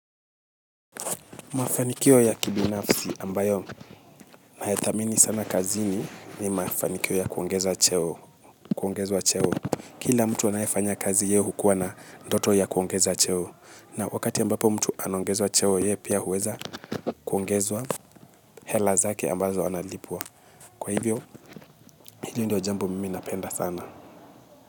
Mafanikio ya kibinafsi ambayo nayathamini sana kazini ni mafanikio ya kuongeza cheo, kuongezwa cheo. Kila mtu anayefanya kazi ye hukuwa na ndoto ya kuongeza cheo. Na wakati ambapo mtu anaongezwa cheo ye pia huweza kuongezwa hela zake ambazo analipwa. Kwa hivyo hili ndio jambo mimi napenda sana.